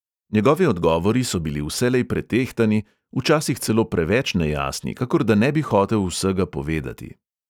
Njegovi odgovori so bili vselej pretehtani, včasih celo preveč nejasni, kakor da ne bi hotel vsega povedati.